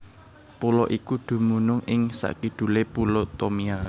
Pulo iki dumunung ing sakidulé Pulo Tomia